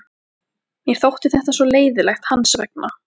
Mér þótti þetta svo leiðinlegt hans vegna.